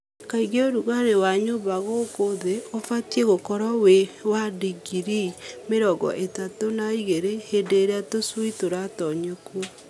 Kaingĩ ũrugarĩ wa nyũmba gũkũ thĩ ũbatiĩ gũkorwo wĩ wa ndingiri mĩrongo ĩtatũ na igĩrĩ hĩndĩ ĩrĩa tũcui tũratonyio kuo.